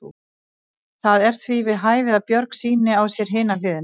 Það er því við hæfi að Björg sýni á sér hina hliðina.